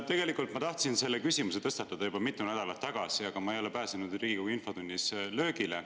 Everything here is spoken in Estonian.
Tegelikult ma tahtsin selle küsimuse tõstatada juba mitu nädalat tagasi, aga ma ei ole pääsenud Riigikogu infotunnis löögile.